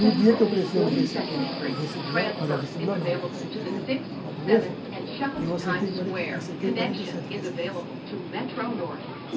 No dia que eu prestei o vesti o vestibular, olha, o vestibular não, o supletivo a natureza, eu acertei quarenta acertei quarenta e sete questões.